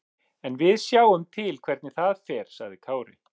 En við sjáum til hvernig það fer, sagði Kári.